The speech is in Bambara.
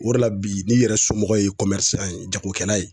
O de la bi ,n'i yɛrɛ somɔgɔw ye san jagokɛla ye